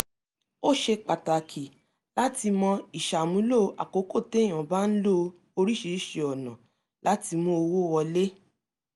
ó ṣe pàtàkì láti mọ ìṣàmúlò àkókò téyàn bá ń lo oríṣiríṣi ọ̀nà láti mú owó wọlé